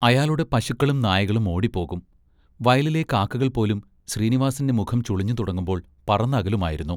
അയാളുടെ പശുക്കളും നായകളും ഓടിപ്പോകും. വയലിലെ കാക്കകൾപോലും ശ്രീനിവാസിൻ്റെ മുഖം ചുളിഞ്ഞുതുടങ്ങുമ്പോൾ പറന്നകലുമായിരുന്നു.